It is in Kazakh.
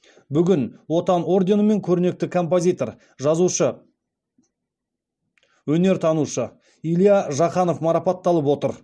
бүгін отан орденімен көрнекті композитор жазушы өнертанушы илья жақанов марапатталып отыр